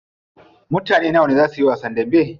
Mutane nawa ne zaa suyi wasan dambe?